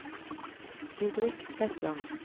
Didrik Hetland